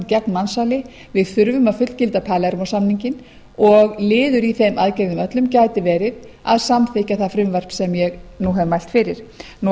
gegn mansali við þurfum að fullgilda palermó samninginn og liður í þeim aðgerðum öllum gæti verið að samþykkja það frumvarp sem ég nú hef mælt fyrir að